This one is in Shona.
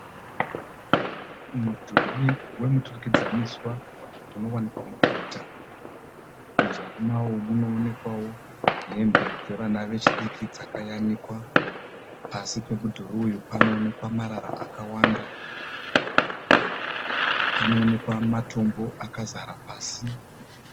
Mudhuri wemuturikidzaniswa unowanika muguta. Muzasi mawo munoonekwawo hembe dzevana vechidiki dzakayanikwa. Pasi pemudhuri uyu panoonekwa marara akawanda. Panoonekwa matombo akazara pasi.